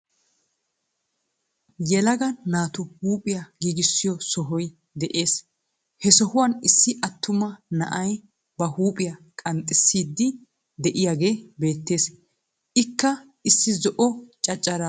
Yeelaaga naatu huphiyaa giggissiyo sohoy de7ees. He sohuwan issi aatummaa na7aay ba huphiya qanxxisiyddi de7iyagee beettees. Ikka issi zo7o caccaara bollara maayi uttis.